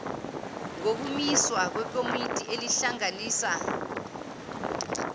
ngokumiswa kwekomiti elihlanganisa